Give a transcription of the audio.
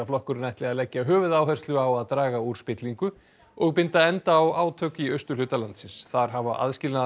flokkurinn ætli að leggja höfuðáherslu á að draga úr spillingu og binda enda á átök í austurhluta landsins þar hafa